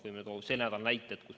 Võin tuua selle nädala kohta näited.